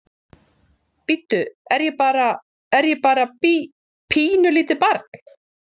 Bíddu, er ég bara, er ég bara bí, pínulítið barn?